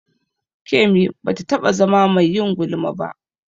Kemi ba ta taɓa zama mai yin gulma ba.